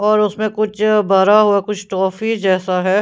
और उसमें कुछ भरा हुआ कुछ टॉफी जैसा है--